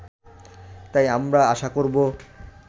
তাই আমরা আশা করব